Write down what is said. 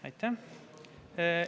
Aitäh!